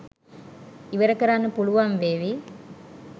ඉවර කරන්න පුළුවන් වේවි